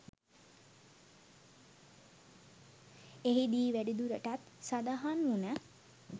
එහිදී වැඩිදුරටත් සඳහන් වුණ